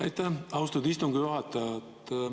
Aitäh, austatud istungi juhataja!